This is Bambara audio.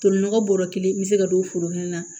Tolinɔgɔ bɔrɔ kelen n bɛ se ka don foro kelen na